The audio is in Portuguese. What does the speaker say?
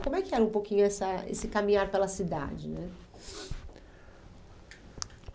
Como é que era um pouquinho essa esse caminhar pela cidade né